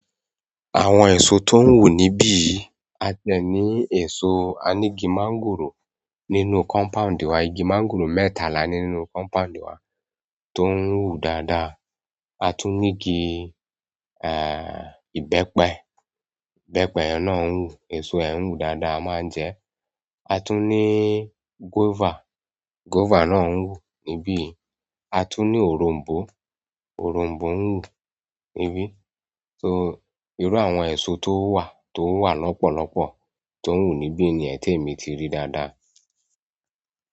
Àwọn èso tó ń wu níbí, a tiẹ̀ ní èso, a ní igi máńgòrò nínú kọ́mpáund wa. Idi kangaroo mẹ́ta la ni nínú compound wa to n wu dáadáa. A tún ni igi, ẹ, ìbẹ́pẹ. Ìbẹ́pẹ náà ń wù. Èso rẹ̀ ń wù dáadáa, a máa ń jẹ́ ẹ́. A tún ní gúọ́fà. Gúọ́fà náà ń wù níbí. A tún ní òronbó. Òronbó ń wù níbí. So irú àwọn èso tó wà, tó wà lọ́pọ̀lọ́pọ̀ tó ń wù níbí niyẹn temi ti rí dáadáa.